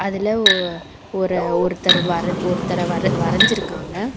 அதுல ஒ அ ஒரு ஒருத்தர் வர ஒருத்தர வர வரஞ்சிருக்காங்க.